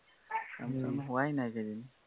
কাম যোৱা হোৱাই এইকেইদিন